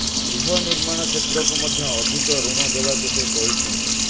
ଗୃହ ନିର୍ମାଣ କ୍ଷେତ୍ରକୁ ମଧ୍ୟ ଅଧିକ ଋଣ ଦେବାକୁ ସେ କହିଛନ୍ତି